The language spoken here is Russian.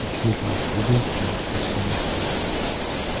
зелье единственное спасение